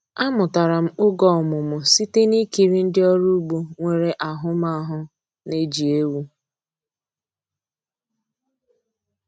Amụtara m oge ọmụmụ site na ikiri ndị ọrụ ugbo nwere ahụmahụ na-eji ewu.